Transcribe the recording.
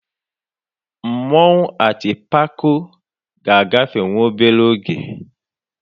Mmanwụ Atịpako ga-agafe nwa obere oge.